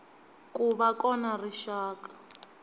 ku va kona ka rixaka